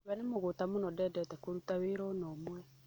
We nĩmũgũta mũno ndendete kũruta wĩra ona ũmwe.